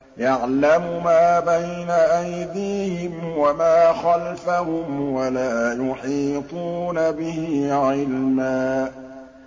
يَعْلَمُ مَا بَيْنَ أَيْدِيهِمْ وَمَا خَلْفَهُمْ وَلَا يُحِيطُونَ بِهِ عِلْمًا